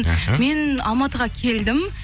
мхм мен алматыға келдім